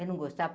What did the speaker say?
Eu não gostava.